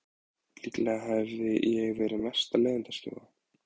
Líklega hefi ég verið mesta leiðindaskjóða.